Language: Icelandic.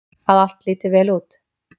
Að allt líti vel út.